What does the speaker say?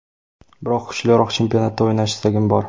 Biroq kuchliroq chempionatda o‘ynash istagim bor.